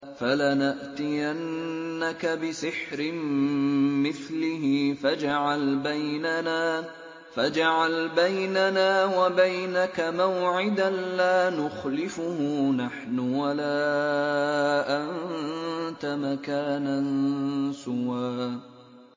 فَلَنَأْتِيَنَّكَ بِسِحْرٍ مِّثْلِهِ فَاجْعَلْ بَيْنَنَا وَبَيْنَكَ مَوْعِدًا لَّا نُخْلِفُهُ نَحْنُ وَلَا أَنتَ مَكَانًا سُوًى